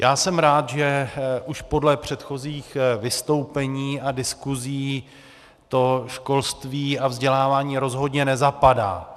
Já jsem rád, že už podle předchozích vystoupení a diskusí to školství a vzdělávání rozhodně nezapadá.